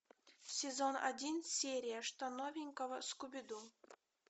сезон один серия что новенького скуби ду